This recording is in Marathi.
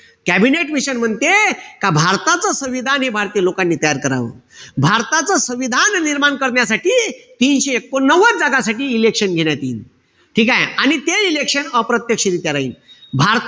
कॅबिनेट मिशन म्हणते का भारतच संविधान हे भारतीय लोकांनी तयार करावं. भारतच संविधान निर्माण करण्यासाठी तीनशे एकोणनव्वद जागासाठी election घेण्यात यील. ठीकेय? आणि ते election अप्रत्यक्षरीत्या राहील.